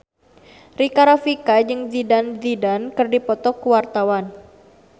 Rika Rafika jeung Zidane Zidane keur dipoto ku wartawan